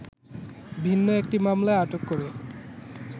ভিন্ন একটি মামলায় আটক করে